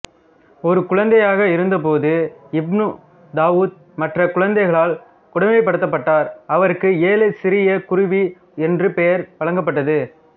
ஒரு குழந்தையாக இருந்தபோது இப்னு தாவூத் மற்ற குழந்தைகளால் கொடுமைப்படுத்தப்பட்டார் அவருக்கு ஏழை சிறிய குருவி என்ற பெயர் வழங்கப்பட்டது